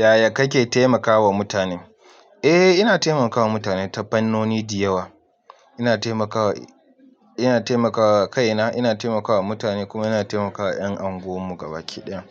Yaya kake taimakawa mutane? Eh, ina taimakawa mutane ta fannoni dayawa. Ina taimakawa, ina taimakawa kaina, ina taimakawa mutane kuma ina taimakawa ƴan unguwarmu gabaki ɗaya.